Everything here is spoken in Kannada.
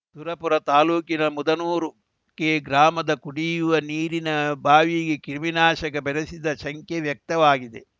ಸುರಪುರ ತಾಲೂಕಿನ ಮುದನೂರು ಕೆ ಗ್ರಾಮದ ಕುಡಿಯುವ ನೀರಿನ ಬಾವಿಗೆ ಕ್ರಿಮಿನಾಶಕ ಬೆರೆಸಿದ ಶಂಕೆ ವ್ಯಕ್ತವಾಗಿದೆ